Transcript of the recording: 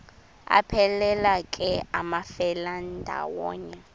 aphelela ke amafelandawonye